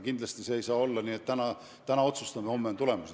Kindlasti see ei saa olla nii, et täna otsustame, homme on tulemused.